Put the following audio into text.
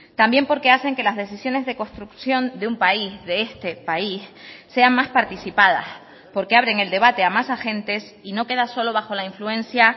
también porque hacen que las decisiones de construcción de un país de este país sean más participadas porque abren el debate a más agentes y no queda solo bajo la influencia